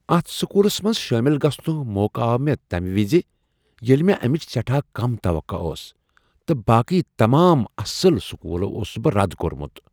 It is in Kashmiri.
اتھ سکولس منٛز شٲمل گژھنک موقع آو مےٚ تمہ وز ییٚلہ مےٚ امچ سٮ۪ٹھاہ کم توقع ٲس تہٕ باقٕے تمام اصل سکولو اوسس بہٕ رد کوٚرمت۔